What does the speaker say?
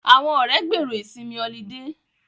Àwọn ọ̀rẹ́ gbèrò ìsinmi ọlidé